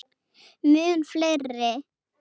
Mun fleiri.